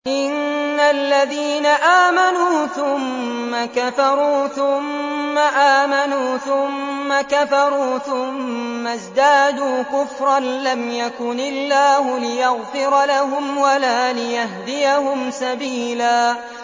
إِنَّ الَّذِينَ آمَنُوا ثُمَّ كَفَرُوا ثُمَّ آمَنُوا ثُمَّ كَفَرُوا ثُمَّ ازْدَادُوا كُفْرًا لَّمْ يَكُنِ اللَّهُ لِيَغْفِرَ لَهُمْ وَلَا لِيَهْدِيَهُمْ سَبِيلًا